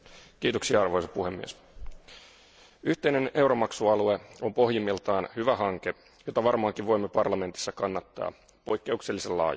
Arvoisa puhemies, yhteinen euromaksualue on pohjimmiltaan hyvä hanke, jota varmaankin voimme parlamentissa kannattaa poikkeuksellisen laajasti.